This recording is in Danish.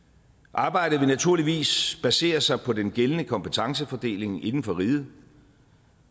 arbejdet vil naturligvis basere sig på den gældende kompetencefordeling inden for riget